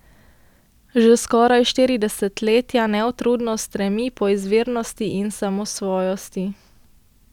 Že skoraj štiri desetletja neutrudno stremi po izvirnosti in samosvojosti.